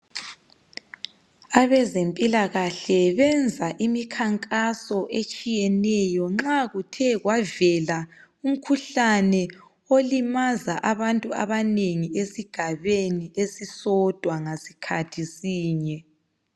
Abazempilakahle benza imikhankaso etshiyeneyo nxa kuthe kwavele umkhuhlane olimaza abantu abanengi esigabeni esisodwa ngasikhathi sinye.